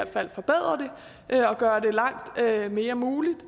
fald forbedre det gøre det langt mere muligt at